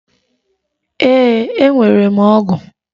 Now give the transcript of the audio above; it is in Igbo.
Ee, enwere m ọgụ.